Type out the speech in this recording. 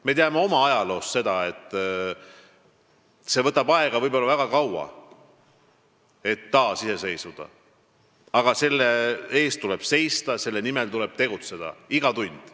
Me teame oma ajaloost, et taasiseseisvumine võtab aega, võib-olla väga kaua, aga selle eest tuleb seista, selle nimel tuleb tegutseda, iga tund.